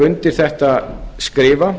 undir þetta skrifa